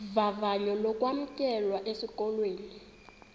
vavanyo lokwamkelwa esikolweni